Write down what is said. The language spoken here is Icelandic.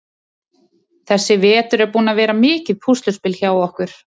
Þessi vetur er búinn að vera mikið púsluspil hjá okkur.